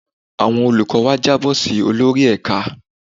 Àwọn olùkọ́ wa jábọ̀ si olórí ẹ̀ka.